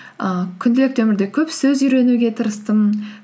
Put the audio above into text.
ііі күнделікті өмірде көп сөз үйренуге тырыстым